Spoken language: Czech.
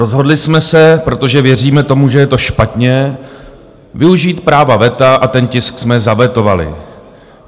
Rozhodli jsme se, protože věříme tomu, že je to špatně, využít práva veta a ten tisk jsme zavetovali.